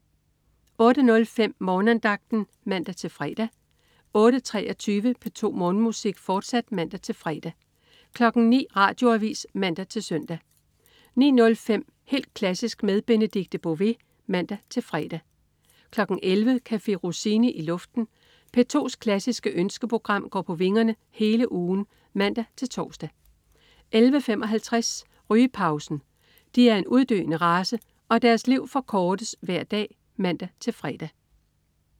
08.05 Morgenandagten (man-fre) 08.23 P2 Morgenmusik, fortsat (man-fre) 09.00 Radioavis (man-søn) 09.05 Helt klassisk med Benedikte Bové (man-fre) 11.00 Café Rossini i luften. P2's klassiske ønskeprogram går på vingerne hele ugen (man-tors) 11.55 Rygepausen. De er en uddøende race, og deres liv forkortes hver dag (man-fre)